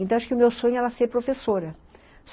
Então acho que o meu sonho é era ser professora.